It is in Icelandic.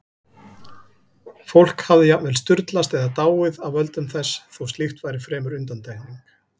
Fólk hafði jafnvel sturlast eða dáið af völdum þess, þó slíkt væri fremur undantekning.